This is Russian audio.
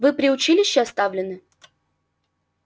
вы при училище оставлены